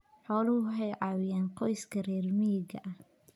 Xooluhu waxay caawiyaan qoysaska reer miyiga ah.